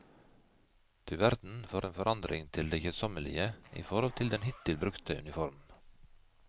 Du verden for en forandring til det kjedsommelige i forhold til den hittil brukte uniform.